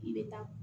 I bɛ taa